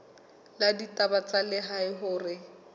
la ditaba tsa lehae hore